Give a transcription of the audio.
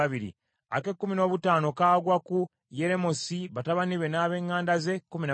ak’ekkumi n’omukaaga kagwa ku Kananiya, batabani be n’ab’eŋŋanda ze, kkumi na babiri;